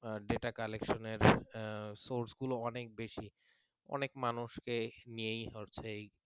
data collection এর source গুলো অনেক বেশি অনেক মানুষকে নিয়েই